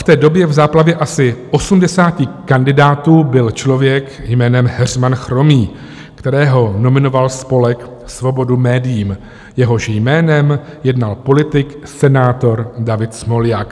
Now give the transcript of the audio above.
V té době v záplavě asi 80 kandidátů byl člověk jménem Heřman Chromý, kterého nominoval spolek Svobodu médiím, jehož jménem jednal politik senátor David Smoljak.